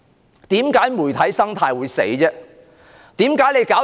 為甚麼媒體生態會死亡？